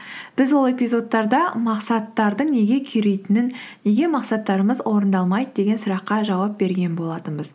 біз ол эпизодтарда мақсаттардың неге күйретінін неге мақсаттарымыз орындалмайды деген сұраққа жауап берген болатынбыз